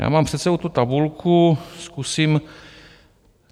Já mám před sebou tu tabulku, zkusím...